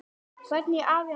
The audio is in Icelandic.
Hvernig afi hann var.